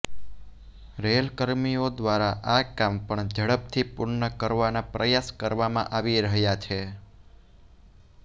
rail કર્મીઓ દ્વારા આ કામ પણ ઝડપથી પૂર્ણ કરવાના પ્રયાસ કરવામાં આવી રહ્યા છે